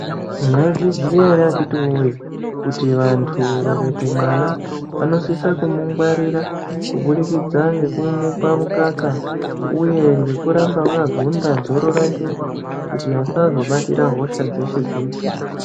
Mwaizviziya ere akhiti voye kuti vantu vakaite mwana vanosisa kumungwarira kubudikidza ngekumupa mukaka, uye nekuramba vakagunda dzoro rake kuti asazobatira hosha dzeshe-dzeshe.